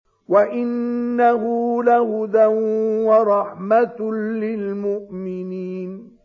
وَإِنَّهُ لَهُدًى وَرَحْمَةٌ لِّلْمُؤْمِنِينَ